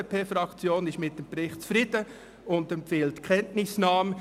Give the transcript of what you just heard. Die FDP-Fraktion ist mit dem Bericht zufrieden und empfiehlt die Kenntnisnahme.